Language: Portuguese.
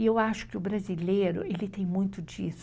E eu acho que o brasileiro, ele tem muito disso.